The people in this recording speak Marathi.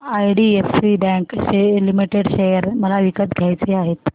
आयडीएफसी बँक लिमिटेड शेअर मला विकत घ्यायचे आहेत